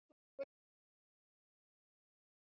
Hekla boðin til sölu